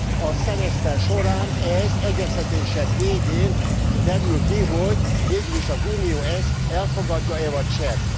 A szemeszter során az egyeztetések végén derül ki, hogy végül is az Unió ezt elfogadja e vagy sem.